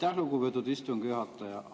Aitäh, lugupeetud istungi juhataja!